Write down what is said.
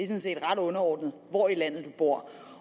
set ret underordnet hvor i landet man bor